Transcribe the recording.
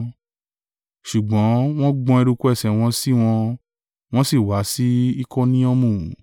Ṣùgbọ́n wọ́n gbọn eruku ẹsẹ̀ wọn sí wọn, wọn sì wá sí Ikoniomu.